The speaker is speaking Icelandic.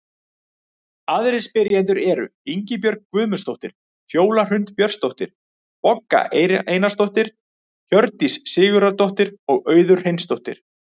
Aðrir spyrjendur eru: Ingibjörg Guðmundsdóttir, Fjóla Hrund Björnsdóttir, Bogga Einarsdóttir, Hjördís Sigurðardóttir og Auður Hreinsdóttir.